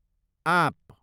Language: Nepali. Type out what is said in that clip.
आँप